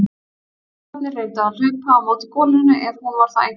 Hirðarnir reyndu að hlaupa á móti golunni ef hún var þá einhver.